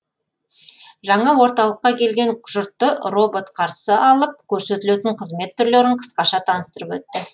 жаңа орталыққа келген жұртты робот қарсы алып көрсетілетін қызмет түрлерін қысқаша таныстырып өтті